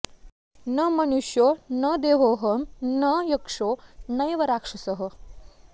न मनुष्यो न देहोहं न यक्षो नैव राक्षसः